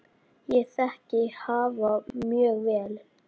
Ég þekki hafa mjög vel.